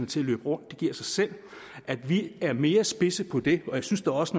til at løbe rundt det giver sig selv at vi er mere spidse på det jeg synes da også